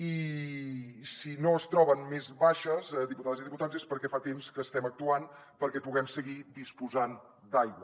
i si no es troben més baixes diputades i diputats és perquè fa temps que estem actuant perquè puguem seguir disposant d’aigua